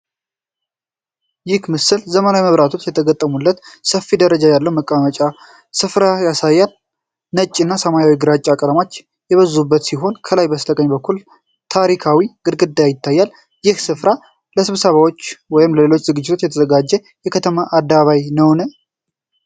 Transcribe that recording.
ይህ ምስል ዘመናዊ መብራቶች የተገጠሙለት ሰፊ ደረጃ ያለው የመቀመጫ ስፍራ ያሳያል። ነጭና ሰማያዊ ግራጫ ቀለሞች የበዙበት ሲሆን፣ ከላይ በስተቀኝ በኩል ታሪካዊ ግድግዳ ይታያል። ይህ ስፍራ ለስብሰባዎች ወይም ለሌሎች ዝግጅቶች የተዘጋጀ የከተማ አደባባይ ነውን?